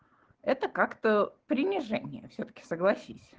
это как-то принижение всё-таки согласись